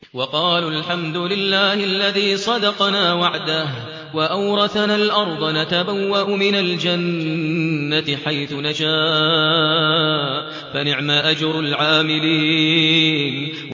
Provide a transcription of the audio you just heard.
وَقَالُوا الْحَمْدُ لِلَّهِ الَّذِي صَدَقَنَا وَعْدَهُ وَأَوْرَثَنَا الْأَرْضَ نَتَبَوَّأُ مِنَ الْجَنَّةِ حَيْثُ نَشَاءُ ۖ فَنِعْمَ أَجْرُ الْعَامِلِينَ